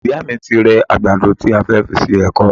Ìyá mi ti rẹ àgbàdo tí a fẹ́ fi ṣe èkọ